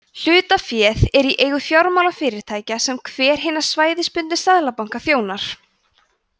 hlutaféð er í eigu fjármálafyrirtækja sem hver hinna svæðisbundnu seðlabanka þjónar